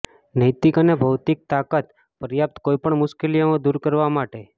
નૈતિક અને ભૌતિક તાકાત પર્યાપ્ત કોઈપણ મુશ્કેલીઓ દૂર કરવા માટે